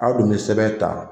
A dun bɛ sɛbɛn ta.